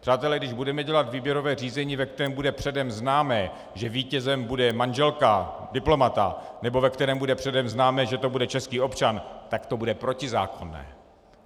Přátelé, když budeme dělat výběrové řízení, ve kterém bude předem známo, že vítězem bude manželka diplomata, nebo ve kterém bude předem známo, že to bude český občan, tak to bude protizákonné.